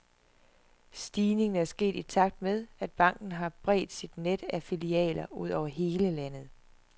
Stigningen er sket i takt med, at banken har bredt sit net af filialer ud over hele landet.